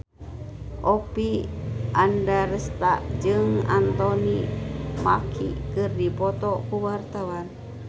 Oppie Andaresta jeung Anthony Mackie keur dipoto ku wartawan